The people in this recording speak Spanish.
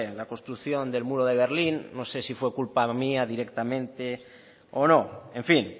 la construcción del muro de berlín no sé si fue culpa mía directamente o no en fin